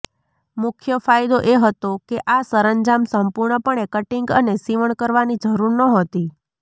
મુખ્ય ફાયદો એ હતો કે આ સરંજામ સંપૂર્ણપણે કટીંગ અને સીવણ કરવાની જરૂર નહોતી